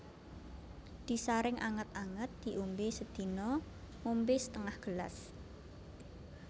Disaring anget anget diombe sedina ngombe setengah gelas